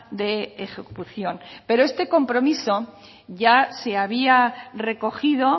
de ejecución pero este compromiso ya se había recogido